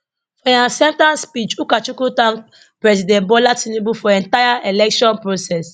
for im acceptance speech ukachukwu thank president bola tinubu for entire election process